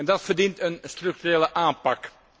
Dat verdient een structurele aanpak.